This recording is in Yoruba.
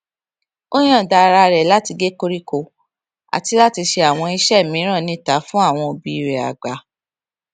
ó yòǹda ara rè láti gé koríko àti láti ṣe àwọn iṣé mìíràn níta fún àwọn òbí rè àgbà